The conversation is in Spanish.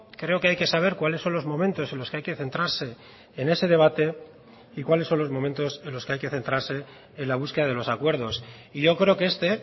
creo que hay que saber cuáles son los momentos en los que hay que centrarse en ese debate y cuáles son los momentos en los que hay que centrarse en la búsqueda de los acuerdos y yo creo que este